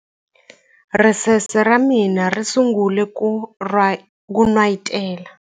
Ricece ra mina ri sungule ku n'wayitela.